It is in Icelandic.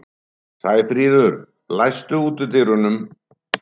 Sæfríður, læstu útidyrunum.